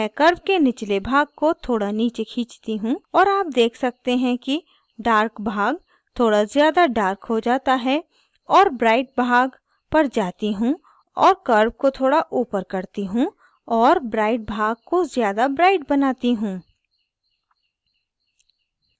मैं curve के निचले भाग को थोड़ा नीचे खींचती हूँ और आप देख सकते हैं कि dark भाग थोड़ा ज़्यादा dark हो जाता है और bright भाग पर जाती हूँ और curve को थोड़ा ऊपर करती हूँ और bright भाग को ज़्यादा bright बनाती हूँ